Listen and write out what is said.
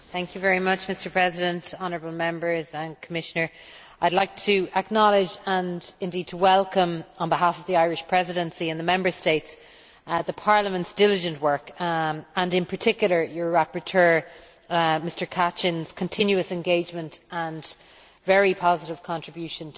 Mr President, honourable Members and Commissioner, I would like to acknowledge and, indeed, to welcome, on behalf of the Irish Presidency and the Member States, the Parliament's diligent work, and in particular your rapporteur Mr Kacin's continuous engagement and very positive contribution to